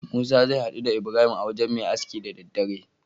Musa zai haɗu da ibrahim a wajan Me aski da daddare